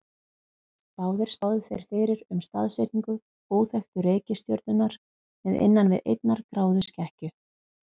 Báðir spáðu þeir fyrir um staðsetningu óþekktu reikistjörnunnar með innan við einnar gráðu skekkju.